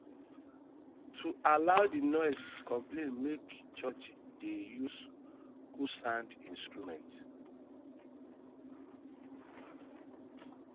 to avoid di um noise conplaints make churchs de de um use um good sound instruments